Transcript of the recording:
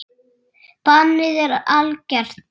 Bannið er algert.